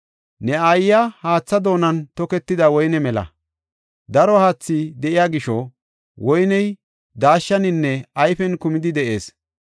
Ne aayiya haatha doonan toketida woyne mela; daro haathi de7iya gisho woyney daashshaninne ayfen kumidi de7ees.